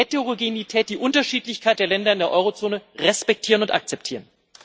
Wir müssen die Heterogenität, die Unterschiedlichkeit der Länder in der Eurozone respektieren und akzeptieren.